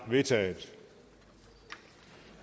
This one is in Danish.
vedtaget